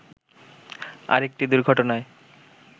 আরেকটি দুর্ঘটনায়